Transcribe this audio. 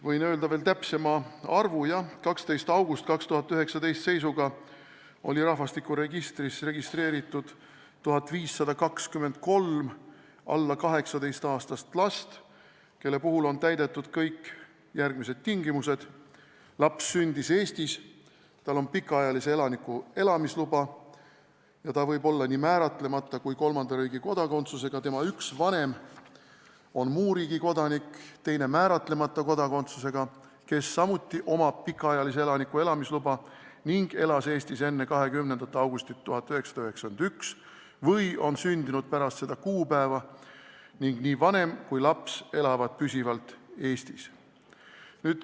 Võin öelda veel täpsema arvu: seisuga 12. august 2019 oli rahvastikuregistris registreeritud 1523 alla 18-aastast last, kelle puhul on täidetud kõik järgmised tingimused: laps sündis Eestis, tal on pikaajalise elaniku elamisluba ja ta võib olla nii määratlemata kui ka kolmanda riigi kodakondsusega, tema üks vanem on muu riigi kodanik ja teine määratlemata kodakondsusega, kel samuti on pikaajalise elaniku elamisluba ning kes elas Eestis enne 20. augustit 1991 või on sündinud pärast seda kuupäeva, ning nii vanem kui ka laps elavad püsivalt Eestis.